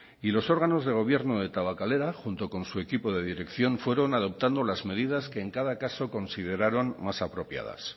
y los órganos de gobierno de tabakalera junto con su equipo de dirección fueron adoptando las medidas que en cada caso consideraron más apropiadas